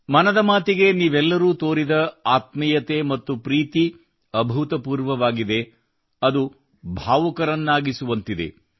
ಮನದ ಮಾತಿಗೆ ನೀವೆಲ್ಲರೂ ತೋರಿದ ಆತ್ಮೀಯತೆ ಮತ್ತು ಪ್ರೀತಿ ಅಭೂತಪೂರ್ವವಾಗಿದೆ ಅದು ಭಾವುಕರನ್ನಾಗಿಸುವಂತಿದೆ